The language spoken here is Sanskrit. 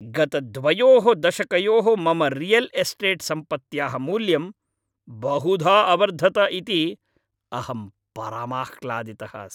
गत द्वयोः दशकयोः मम रियल् एस्टेट् सम्पत्त्याः मूल्यं बहुधा अवर्धत इति अहं परमाह्लादितः अस्मि।